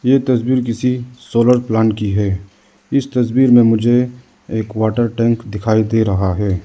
ये तस्वीर किसी सोलर प्लांट की है इस तस्वीर में मुझे एक वाटर टैंक दिखाई दे रहा है।